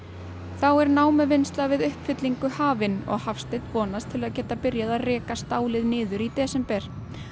þá er námuvinnsla fyrir uppfyllingu hafin og Hafsteinn vonast til að geta byrjað að reka stálið niður í desember